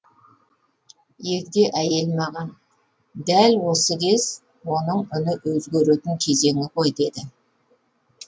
егде әйел маған дәл осы кез оның үні өзгеретін кезеңі ғой деді